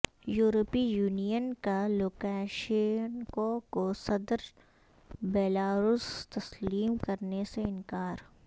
یورپی یونین کا لوکاشینکو کو صدر بیلاروس تسلیم کرنے سے انکار